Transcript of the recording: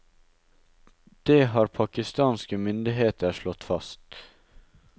Det har pakistanske myndigheter slått fast.